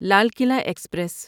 Lal Qila express